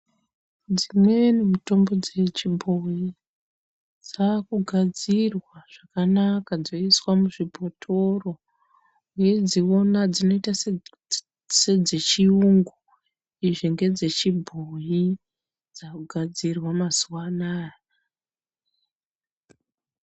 Dzimweni mitombo dzechibhoyi dzakugadzirwa zvakanaka dzoiswa muzvibhotoro weidziona dzinoita sedzechiyungu izvingedzechibhoyi dzakugadzirwa mazuwa anaya.